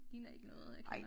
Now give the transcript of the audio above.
Ligner ikke noget jeg kender